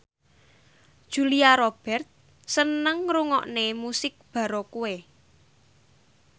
Julia Robert seneng ngrungokne musik baroque